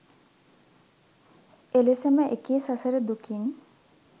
එලෙසම එකී සසර දුකින්